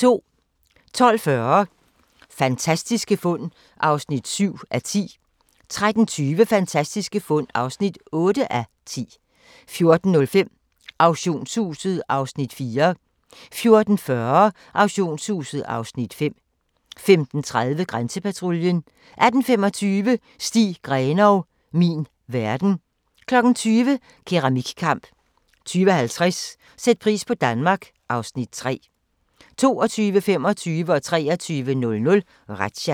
12:40: Fantastiske fund (7:10) 13:20: Fantastiske fund (8:10) 14:05: Auktionshuset (Afs. 4) 14:40: Auktionshuset (Afs. 5) 15:30: Grænsepatruljen 18:25: Stig Grenov - min verden 20:00: Keramikkamp 20:50: Sæt pris på Danmark (Afs. 3) 22:25: Razzia 23:00: Razzia